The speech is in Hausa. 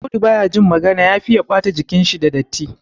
Audu ba ya jin magana ya fiye ɓata jikinshi da datti.